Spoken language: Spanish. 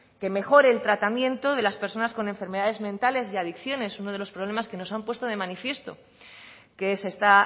que mejore el tratamiento de las personas con enfermedades mentales y adicciones uno de los problemas que nos han puesto de manifiesto que se está